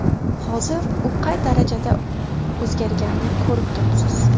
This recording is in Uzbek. Hozir u qay darajada o‘zgarganini ko‘rib turibsiz.